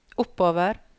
oppover